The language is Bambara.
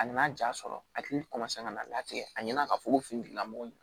A nana ja sɔrɔ a hakili ka na n'a tigɛ a ɲɛna ka fɔ ko fini tigilamɔgɔ